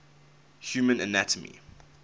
human anatomy